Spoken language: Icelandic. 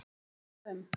Fóru víða um